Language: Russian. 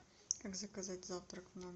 как заказать завтрак в номер